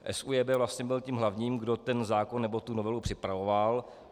SÚJB vlastně byl tím hlavním, kdo ten zákon nebo tu novelu připravoval.